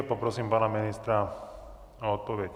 A poprosím pana ministra o odpověď.